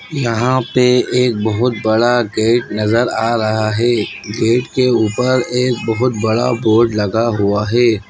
यहाँ पे एक बहुत बड़ा गेट नजर आ रहा है गेट के ऊपर एक बहुत बोर्ड लगा हुआ है।